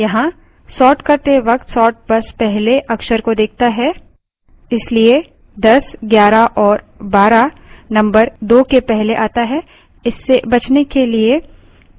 ध्यान दें कि कुछ अजीब है यहाँ sort करते वक्त sort बस पहले अक्षर को देखता है इसलिए 1011 & 12 number 2 के पहले at है